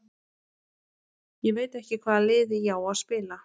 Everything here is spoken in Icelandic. Ég veit ekki hvaða liði ég á að spila.